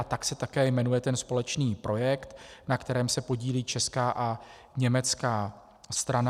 A tak se také jmenuje ten společný projekt, na kterém se podílí česká a německá strana.